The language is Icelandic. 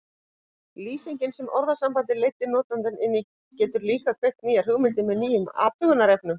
Lýsingin sem orðasambandið leiddi notandann inn í getur líka kveikt nýjar hugmyndir með nýjum athugunarefnum.